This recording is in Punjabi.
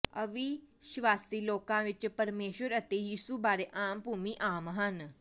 ਅਵਿਸ਼ਵਾਸੀ ਲੋਕਾਂ ਵਿਚ ਪਰਮੇਸ਼ੁਰ ਅਤੇ ਯਿਸੂ ਬਾਰੇ ਆਮਭੂਮੀ ਆਮ ਹਨ